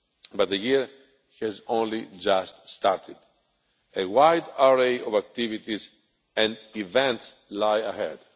But the year has only just started. A wide array of activities and events lie ahead.